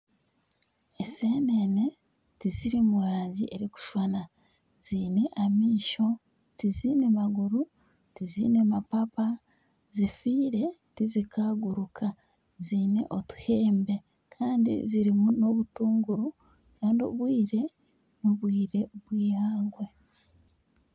Enseenene tiziri mu rangi erikushushana ziine amaisho tizaine maguru tizaine mapapa zifiire tizinkaguruka ziine otuhembe kandi zirimu n'obutunguru kandi obwire n'obwire bw'eihangwe.